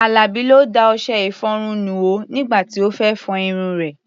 Àlàbí ló da ọṣẹ-ìfọrun nù o nígbà tí ó fẹ́ fọ irun rẹ̀.